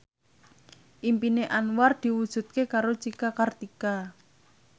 impine Anwar diwujudke karo Cika Kartika